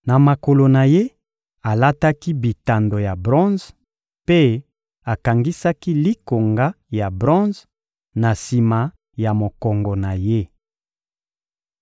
Na makolo na ye, alataki bitando ya bronze, mpe akangisaki likonga ya bronze na sima ya mokongo na ye.